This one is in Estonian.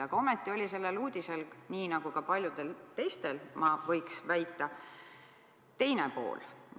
Aga ometi oli sellel uudisel, nii nagu ka paljudel teistel, ma võiks väita, teine pool.